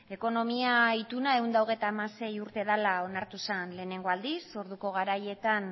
ekonomia ituna ehun eta hogeita hamasei urte dela onartu zen lehenengo aldiz orduko garaietan